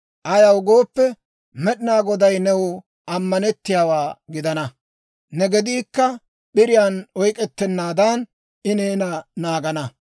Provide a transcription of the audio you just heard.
Ayaw gooppe, Med'inaa Goday new ammanettiyaawaa gidana; ne gediikka p'iriyaan oyk'ettennaadan, I neena naagana.